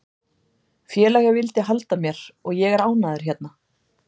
Félagið vildi halda mér og ég er ánægður hérna.